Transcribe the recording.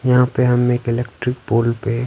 यहाँ पे हम एक इलेक्ट्रिक पोल पे--